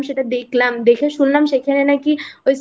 সেটা দেখলাম দেখে শুনলাম সেখানে নাকি ওই